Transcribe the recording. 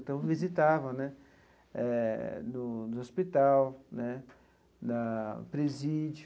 Então, visitava né eh, no no hospital né, na presídio.